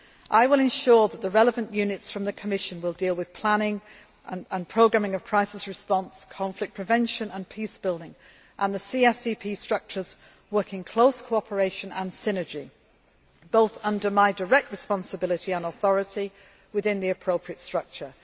I will ensure that the relevant units from the Commission will deal with planning and programming of crisis response, conflict prevention and peace building, and that the CSDP structures work in close cooperation and synergy, both under my direct responsibility and authority within the appropriate structure.